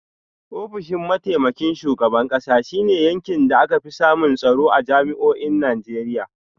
Ofishin mataimakin shugaban kasa shi ne yankin da aka fi samun tsaro a jami’o’in Najeriya.